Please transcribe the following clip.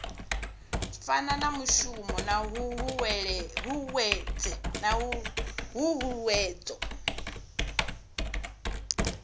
fana na mushumo na huhuwedzo